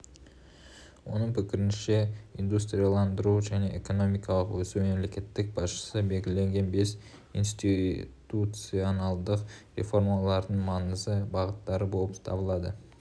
оның пікірінше индустрияландыру және экономикалық өсу мемлекет басшысы белгілеген бес институционалдық реформалардың маңызды бағыттары болып табылады